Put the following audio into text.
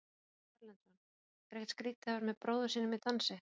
Ásgeir Erlendsson: Er ekkert skrítið að vera með bróður sínum í dansi?